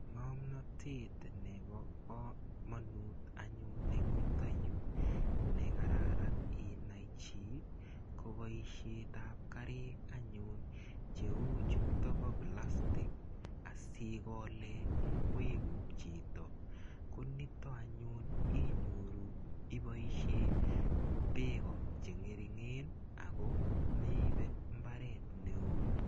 ngomnotet nepakomonut anyun eng yutoyuk ne kararan inai chi ko paishet ap karik anyun cheuchuto pa plastic asikolee ngwekuk chito. konitok anyun inyoru ipaishe pek chengeringen akomeibe mbaret neo.